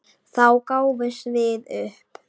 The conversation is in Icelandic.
Þá gáfumst við upp.